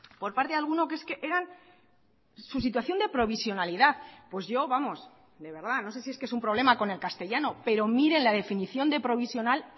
por parte de alguno que es que eran su situación de provisionalidad pues yo vamos de verdad no sé si es que es un problema con el castellano pero miren la definición de provisional